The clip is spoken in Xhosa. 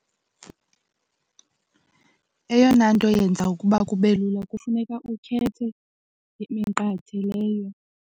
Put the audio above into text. Eyona nto yenza ukuba kube lula kufuneka ukhethe iminqathe leyo.